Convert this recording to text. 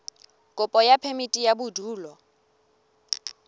kopo ya phemiti ya bodulo